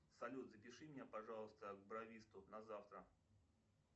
салют запиши меня пожалуйста к бровисту на завтра